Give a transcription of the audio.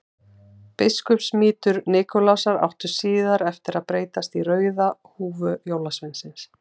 Biskupsmítur Nikulásar átti síðar eftir að breytast í rauða húfu jólasveinsins.